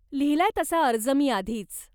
लिहलाय तसा अर्ज मी आधीच.